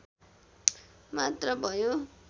मात्र भयो